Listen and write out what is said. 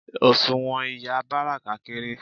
Òṣùwọ̀n ìyá Báràká kééré.